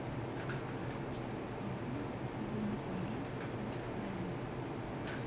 часть один сезона один джек райан